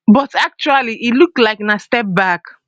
but actually e look like na step back